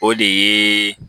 O de ye